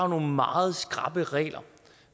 nogle meget skrappe regler